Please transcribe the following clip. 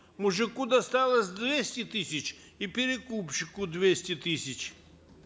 мужику досталось двести тысяч и перекупщику двести тысяч